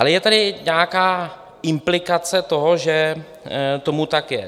Ale je tady nějaká implikace toho, že tomu tak je.